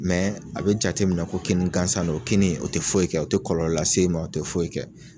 Mɛ a be jateminɛ ko kini gansan don o kini o te foyi kɛ o te kɔlɔlɔ lase i ma o te foyi kɛ